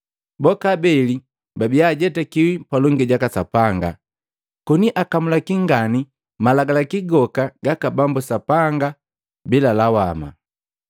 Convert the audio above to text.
Boka abeli babia baajetakiwi palongi jaka Sapanga, koni akamulaki ngani malagalaki goka gaka Bambu sanga lawama.